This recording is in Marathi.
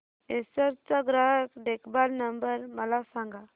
एसर चा ग्राहक देखभाल नंबर मला सांगा